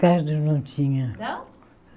Carro eu não tinha. Não